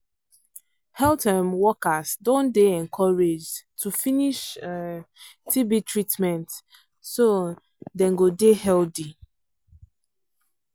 health um workers don dey encouraged to finish um tb treatment so um dem go dey healthy